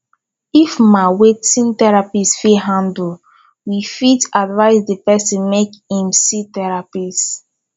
if ma wetin therapist fit handle we fit advice di person make im see therapist